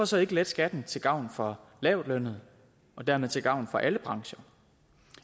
så ikke letter skatten til gavn for lavtlønnede og dermed til gavn for alle brancher